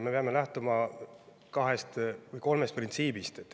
Me peame lähtuma kahest või kolmest printsiibist.